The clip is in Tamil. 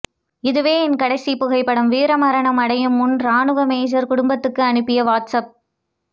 இதுவே என் கடைசி புகைப்படம் வீரமரணம் அடையும் முன் ராணுவ மேஜர் குடும்பத்துக்கு அனுப்பிய வாட்ஸ் அப்